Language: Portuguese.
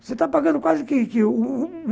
Você está pagando quase que que que